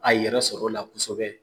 A yɛrɛ sɔrɔ o la kosɛbɛ